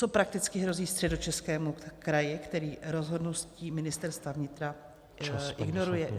Co prakticky hrozí Středočeskému kraji, který rozhodnutí Ministerstva vnitra ignoruje?